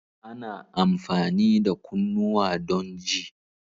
Ana amfani da kunnuwa don ji.